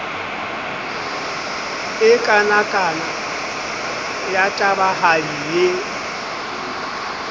e kanakana ya tabahadi e